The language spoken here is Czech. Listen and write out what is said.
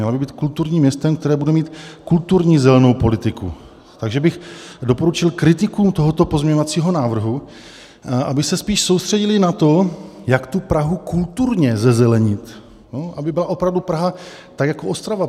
Měla by být kulturním městem, které bude mít kulturní zelenou politiku, takže bych doporučil kritiku tohoto pozměňovacího návrhu, aby se spíš soustředili na to, jak tu Prahu kulturně zezelenit, aby byla opravdu Praha tak jako Ostrava.